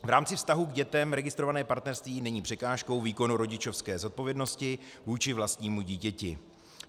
V rámci vztahu k dětem registrované partnerství není překážkou výkonu rodičovské zodpovědnosti vůči vlastnímu dítěti.